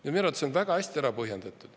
Minu arvates on see väga hästi ära põhjendatud.